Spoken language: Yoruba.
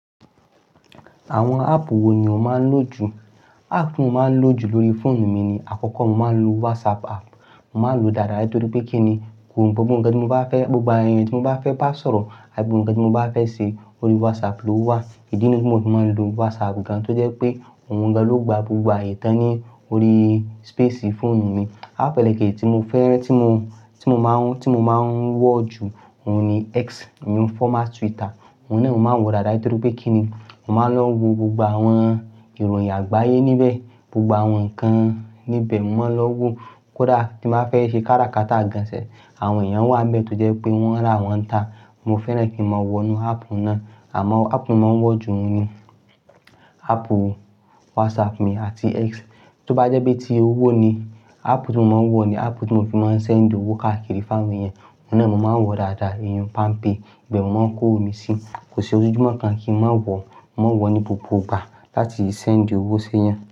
Àwọn áàpù wo ni o máa ń lò jù? Áàpù tí mo máa ń lò jù lórí fóònù mi ni àkọ́kọ́ mo máa ń lo WhatsApp áàpù, mo máa lòó dáadáa torí pé kí ni gbogbo ǹkan tí mo bá fẹ́, gbogbo ẹni tí mo bá fẹ́ bá sọ̀rọ̀ àti gbogbo ǹkan tí mo bá fẹ́ ṣe, orí WhatsApp ló wà. Ìdí nìyí ti mo fi máa ń lo WhatsApp gan-an tó jẹ́ pé òun gan-an ló gba gbogbo àyè tán ní orí space fóònù mi. Áàpù elékèji tí mo fẹ́ràn tí mo, tí mo máa ń, tí mo máa ń wọ̀ jù òun ni X, ìhun former Twitter. Òun náà mo máa ń wọ̀ dáadáa torí pé kí ni mo máa lọ wo gbogbo àwọn ìròyìn àgbáyé níbẹ̀, gbogbo àwọn nǹkan níbẹ̀ mo máa lọ wo. Kódà tí n ba fẹ́ ṣe kára kata gan-an sef, àwọn èèyàn wà níbẹ̀ tó jẹ́ pé wọ́n n ra wọn n ta. Mo fẹ́ràn kí n máa wọ inú áàpù náà. Àmọ́ o áàpù ti mo máa ń wọ̀ jù ni áàpù WhatsApp mi àti X. Tí ó bá jẹ́ bí i tí owó ni, áàpù tí mo máa ń wọ̀ ni áàpù tí mo fi máa ń ṣe ń dí owó káàkiri fún àwọn èèyàn. Òun náà mo máa ń wọ̀ dáadáa, ìhun PalmPay. Ìbẹ̀ mo máa ń kó owo mi síi. Kò sí ojúmọ́ kan kí n má wọ̀, mo máa n wọ̀ ní gbogbo ìgbà láti le ṣeńd owó sẹ́yàn.